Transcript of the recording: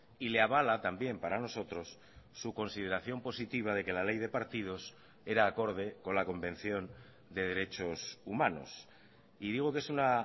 y le avala también para nosotros su consideración positiva de que la ley de partidos era acorde con la convención de derechos humanos y digo que es una